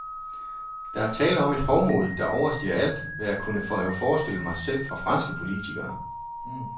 Der er tale om et hovmod, der overstiger alt, hvad jeg kunne have forestillet mig, selv fra franske politikere.